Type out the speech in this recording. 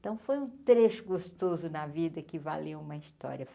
Então foi um trecho gostoso na vida que valia uma história.